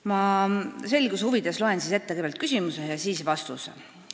Ma loen selguse huvides ette kõigepealt küsimuse ja siis vastuse.